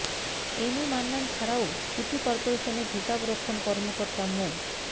M A Mannan ছাড়াও city করপোরেশনের হিসাবরক্ষণ কর্মকর্তা মো